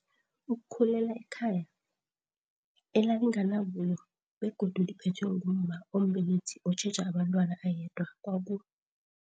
ukukhulela ekhaya elalinganabuyo begodu liphethwe ngumma ombelethi otjheja abentwana ayedwa kwaku